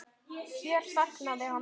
Hér þagnaði hann.